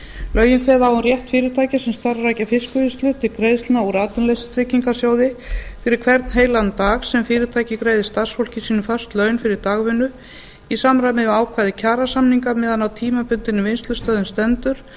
lögin kveða á um rétt fyrirtækja sem starfrækja fiskvinnslu til greiðslna úr atvinnuleysistryggingasjóði fyrir hvern heilan dag sem fyrirtæki greiðir starfsfólki sínu föst laun fyrir dagvinnu í samræmi við ákvæði kjarasamninga meðan á tímabundinni vinnslustöðvun stendur